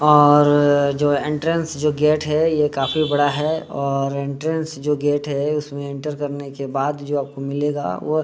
और जो एंट्रेंस जो गेट है ये काफी बड़ा है और एंट्रेंस जो गेट है उसमे एंटर करने के बाद जो आपको मिलेगा वो --